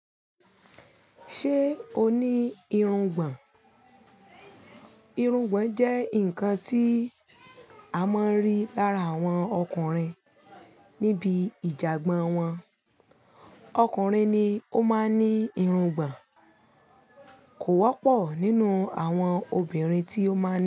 Ṣé o ní irungbọ̀n? Irungbọ̀n jẹ́ nǹkan tí a máa ń rí lára àwọn ọkùnrin níbi ìjàgbọ́n wọn. Ọkùnrin ni ó máa ń ní irungbọ̀n, kò wọ́pọ̀ nínú àwọn obìnrin tí ó máa n.